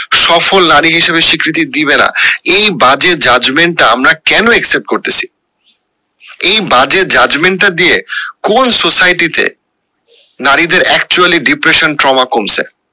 সফল নারী হিসাবে স্বীকৃতি দিবে না এই বাজে judgement টা আমরা কেন accept করতেসি এই বাজে judgement টা দিয়ে কোন society তে নারীদের actually depression কমছে